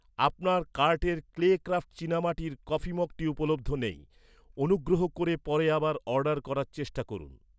আপনার কার্টের clay craft চীনামাটির কফি মগটি উপলব্ধ নেই, অনুগ্রহ করে পরে আবার অর্ডার করার চেষ্টা করুন।